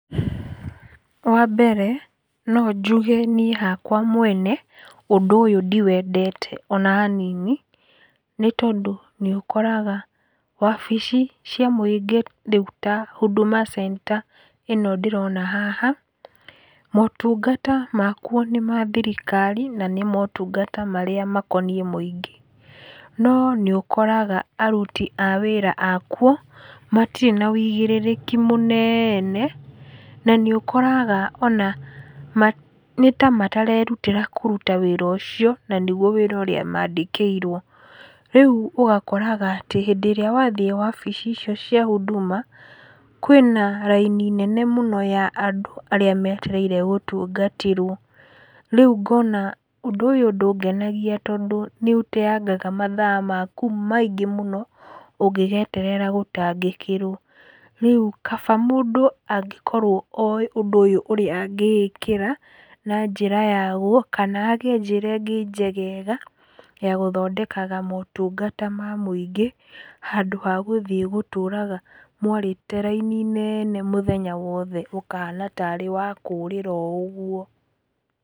Wa mbere no njuge niĩ hakwa mwene ũndũ ũyũ ndiwendete ona hanini tondũ nĩ ũkoraga wabici cia mũingĩ rĩu ta Huduma Center ĩno ndĩrona haha, motungata makuo nĩ ma thirikari na nĩ motungata marĩa makoniĩ mũingĩ. No nĩ ũkoraga aruti a wĩra akuo matirĩ na ũigĩrĩrĩki mũnene, na nĩ ũkoraga ona nĩta matarerutĩra kũruta wĩra ũcio na nĩguo wĩra ũrĩa maandĩkĩirwo. Rĩu ũgakoraga atĩ hĩndĩ ĩrĩa wathiĩ wabici icio cia Huduma, kwĩna raini nene mũno ya andũ arĩa metereire gũtungatĩrwo. Rĩu ngona ũndũ ũyũ ndũngenagia tondũ nĩ ũteaga mathaa maku maingĩ mũno ũngĩgeterera gũtangĩkĩrwo. Rĩu kaba mũndũ angĩkorwo oĩ ũndũ ũyũ ũrĩa angĩĩkĩra na njĩra yaguo kana hagĩe njĩra ĩngĩ njegega ya gũthondekaga motungata ma mũingĩ, handũ ha gũthiĩ gũtũraga mwarĩte raini nene mũthenya wothe ũkahana taarĩ wa kũũrĩra o ũguo.